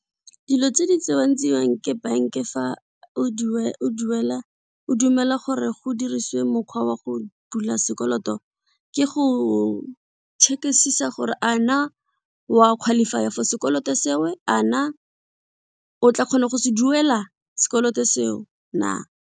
Dilo tse di tsewang tseiwang ke bank fa o dumela gore go diriswe mokgwa wa go bula sekoloto ke go check-isisa gore a na wa qualifier for sekoloto seo a na o tla kgona go se duela sekoloto seo na.